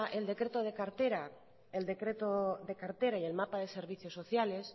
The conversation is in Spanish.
el decreto de cartera y el mapa de servicio sociales